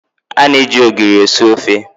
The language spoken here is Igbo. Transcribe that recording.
A na eji ogiri esi ofe.